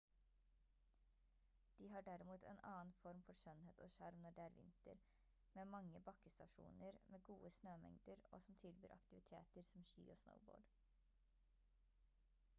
de har derimot en annen form for skjønnhet og sjarm når det er vinter med mange bakkestasjoner med gode snømengder og som tilbyr aktiviteter som ski og snowboard